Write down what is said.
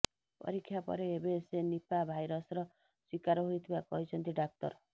ପରୀକ୍ଷା ପରେ ଏବେ ସେ ନିପା ଭାଇରସର ଶିକାର ହୋଇଥିବା କହିଛନ୍ତି ଡ଼ାକ୍ତର